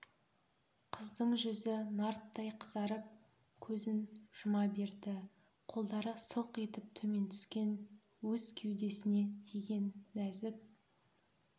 қыздың жүзі нарттай қызарып көзін жұма берді қолдары сылқ етіп төмен түскен өз кеудесіне тиген нәзік